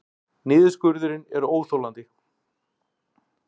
Niðurskurðurinn er óþolandi